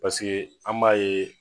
paseke an b'a ye